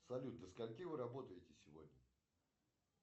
салют до скольки вы работаете сегодня